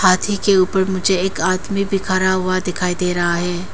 हाथी के ऊपर मुझे एक आदमी भी खड़ा हुआ दिखाई दे रहा है।